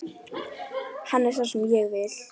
Hann er sá sem ég vil.